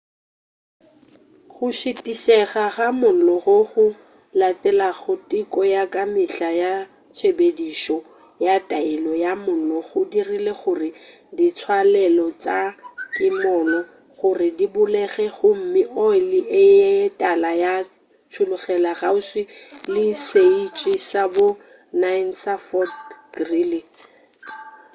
go šitišega ga mollo goo go latelago teko ya ka mehla ya tshepedišo ya taelo ya mollo go dirile gore ditswalelo tša kimollo gore di bulege gomme oli ye tala ya tšhollogela kgauswi le setiši sa bo 9 sa fort greely